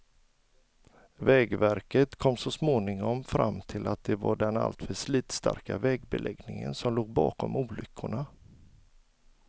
Vägverket kom så småningom fram till att det var den alltför slitstarka vägbeläggningen som låg bakom olyckorna.